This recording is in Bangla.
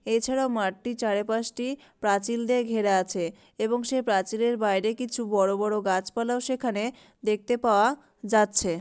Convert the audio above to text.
এছাড়াও মাঠটি চারিপাশটি প্রাচীল দিয়ে ঘেরা আছে এবং সে প্রাচীরের বাইরে কিছু বড়ো বড়ো গাছপালাও সেখানে দেখতে পাওয়া যাচ্ছে।